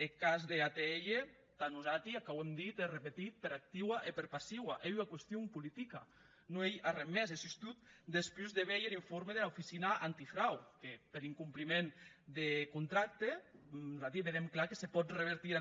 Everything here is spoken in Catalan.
eth cas d’atll tà nosati ac auem dit e repetit per activa i per passiva ei ua qüestion politica non ei arren mès e sustot despús de veir er informe dera oficina antifrau que per incompliment de contracte nosati vedem clar que se pòt revertir